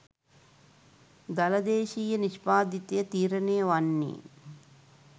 දළ දේශීය නිෂ්පාදිතය තීරණය වන්නේ